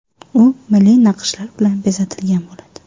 U milliy naqshlar bilan bezatilgan bo‘ladi.